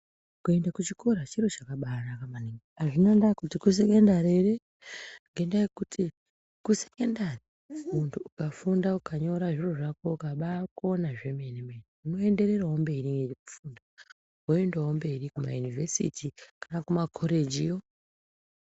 Kuende kuchikora chiro chakabaanaka maningi. Azvinandaa kuti kusekondari ere, ngendaa yekuti kusekendari, muntu ukafunda, ukanyora zviro zvako, ukabaakona zvemene-mene, unoendererawo mberi nekufunda. Woendawo mberi kumayunivhesiti kana kumakhorejiyo.